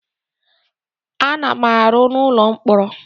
A na m arụ n'ụlọ mkpọrọ.